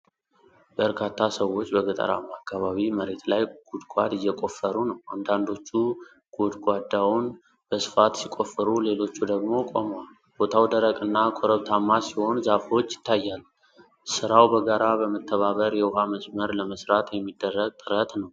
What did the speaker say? በርካታ ሰዎች በገጠራማ አካባቢ መሬት ላይ ጉድጓድ እየቆፈሩ ነው። አንዳንዶቹ ጎድጓዳውን በስፋት ሲቆፍሩ ሌሎቹ ደግሞ ቆመዋል። ቦታው ደረቅና ኮረብታማ ሲሆን ዛፎች ይታያሉ። ሥራው በጋራ በመተባበር የውሃ መስመር ለመስራት የሚደረግ ጥረት ነው።